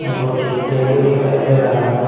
दो तीन टेबुल दिखाई दे रहा है।